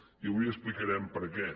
i avui explicarem per què